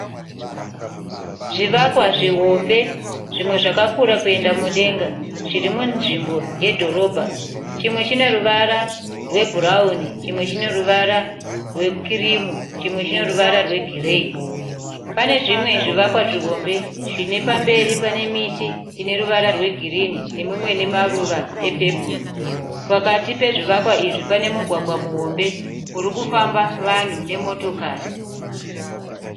Zvivakwa zvihombe zvimwe zvakakura kuenda mudenga zvirimunzvimbo yedhorobha. Chimwe chine ruvara rwebhurauni chimwe, chineruvara rwekirimu chimwe chineruvara rwegireyi. Panezvimwe zvivakwa zvihombe zvinepamberi pane miti ineruvara rwegirini nemimwe inemaruva epepuru. Pakati pezvivakwa izvi panemugwagwa muhombe urikufamba vanhu nemotokari.